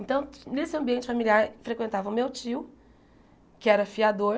Então, nesse ambiente familiar, frequentava o meu tio, que era fiador,